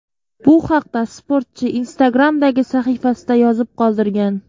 Bu haqda sportchi Instagram’dagi sahifasida yozib qoldirgan .